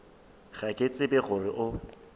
ga ke tsebe gore o